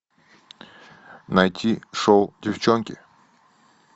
найти шоу девчонки